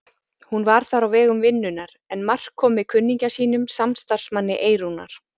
Hún var þar á vegum vinnunnar en Mark kom með kunningja sínum, samstarfsmanni Eyrúnar.